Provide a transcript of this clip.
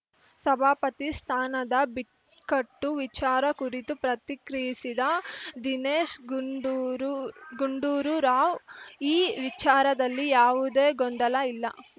ಸಭಾಪತಿ ಸ್ಥಾನದ ಬಿಕ್ಕಟ್ಟು ವಿಚಾರ ಕುರಿತು ಪ್ರತಿಕ್ರಿಯಿಸಿದ ದಿನೇಶ್‌ ಗುಂಡೂರು ಗುಂಡೂರು ರಾವ್‌ ಈ ವಿಚಾರದಲ್ಲಿ ಯಾವುದೇ ಗೊಂದಲ ಇಲ್ಲ